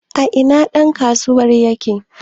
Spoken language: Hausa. a ina ɗankasuwar yake?